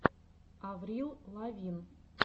аврил лавин